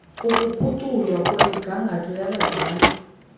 ukuphuculwa kwemigangatho yabadlali